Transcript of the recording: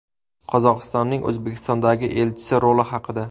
Qozog‘istonning O‘zbekistondagi elchisi roli haqida.